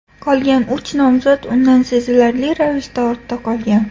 Qolgan uch nomzod undan sezilarli ravishda ortda qolgan.